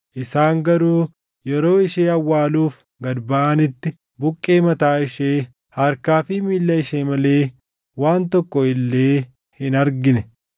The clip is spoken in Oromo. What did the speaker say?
Isaan garuu yeroo ishee awwaaluuf gad baʼanitti buqqee mataa ishee, harkaa fi miilla ishee malee waan tokko illee hin argine.